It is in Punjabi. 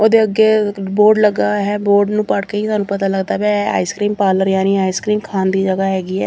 ਉਹਦੇ ਅੱਗੇ ਇੱਕ ਬੋਰਡ ਲੱਗਾ ਹੈ ਬੋਰਡ ਨੂੰ ਪੜ੍ਹ ਕੇ ਹੀ ਤੁਹਾਨੂੰ ਪਤਾ ਲੱਗਦਾ ਪਿਆ ਹੈ ਇਹ ਆਈਸਕ੍ਰੀਮ ਪਾਰਲਰ ਯਾਨੀ ਆਈਸਕ੍ਰੀਮ ਖਾਣ ਦੀ ਜਗ੍ਹਾ ਹੈਗੀ ਹੈ।